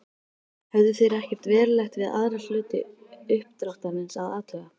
Höfðu þeir ekkert verulegt við aðra hluta uppdráttarins að athuga.